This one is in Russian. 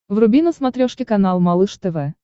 вруби на смотрешке канал малыш тв